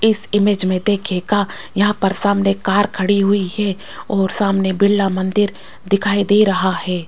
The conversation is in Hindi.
इस इमेज में देखिएगा यहां पर सामने कार खड़ी हुई है और सामने बिरला मंदिर दिखाई दे रहा है।